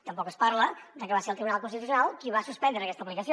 tampoc es parla de que va ser el tribunal constitucional qui va suspendre aquesta aplicació